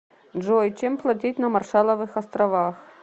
джой чем платить на маршалловых островах